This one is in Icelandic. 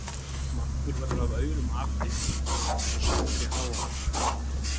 Margur verður af aurum api, eins og sagt er í Hávamálum.